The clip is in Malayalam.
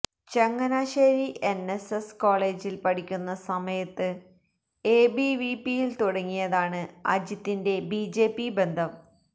ചങ്ങനാശേരി എൻഎസ്എസ് കോളജിൽ പഠിക്കുന്ന സമയത്ത് എബിവിപിയിൽ തുടങ്ങിയതാണ് അജിത്തിന്റെ ബിജെപി ബന്ധം